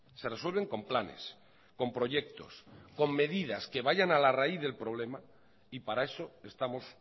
se resuelven con planes con proyectos con medidas que vayan a la raíz del problema y para eso estamos